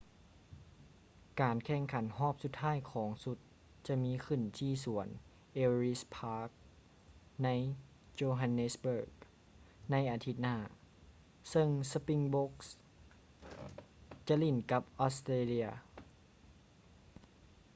ການແຂ່ງຂັນຮອບສຸດທ້າຍຂອງຊຸດຈະມີຂຶ້ນທີ່ສວນ ellis park ໃນ johannesburg ໃນອາທິດໜ້າ ເຊິ່ງ springboks ຈະຫຼິ້ນກັບ australia